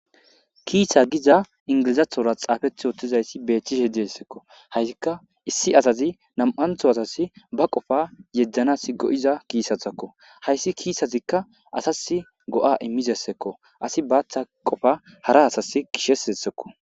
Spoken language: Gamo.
kiisha giza ingilizathora xaafeth yoottizayssi beethchishe deessekko haysikka issi asazi nam7antho asas ba qofa yeddanas go7iza kiisathakko hayssi kiisazikka asas go7a immizessekko asi baaththa qofa hara asas gishesessekko